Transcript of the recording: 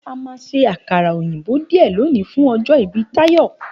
A máa ṣe àkàrà òyìnbó díẹ̀ lòní fún ọjọ́ ìbí Táyọ̀.